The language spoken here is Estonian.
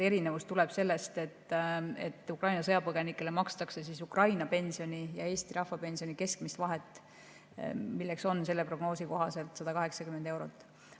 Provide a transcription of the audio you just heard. Erinevus tuleb lihtsalt sellest, et Ukraina sõjapõgenikele makstakse Ukraina pensioni ja Eesti rahvapensioni keskmist vahet, milleks on selle prognoosi kohaselt 180 eurot.